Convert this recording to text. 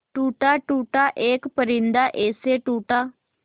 टूटा टूटा एक परिंदा ऐसे टूटा